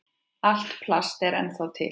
Allt plast er ennþá til.